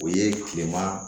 O ye kilema